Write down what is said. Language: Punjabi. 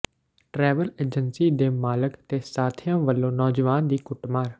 ਟਰੈਵਲ ਏਜੰਸੀ ਦੇ ਮਾਲਕ ਤੇ ਸਾਥੀਆਂ ਵੱਲੋਂ ਨੌਜਵਾਨ ਦੀ ਕੁੱਟਮਾਰ